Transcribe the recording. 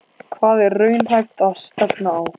Hvað er raunhæft að stefna á?